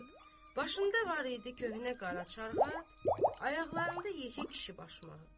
Başında var idi köhnə qara çarqat, ayaqlarında yekə kişi başmağı.